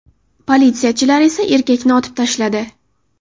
Politsiyachilar esa erkakni otib tashladi.